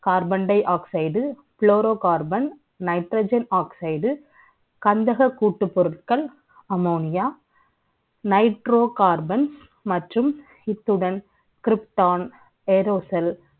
Carbon dioxidechlorocarbonNitrogen oxide கந்தக கூட்டு பொருட்கள் ammonianitrocarbon மற்றும் இத்துடன் Krypton airosceles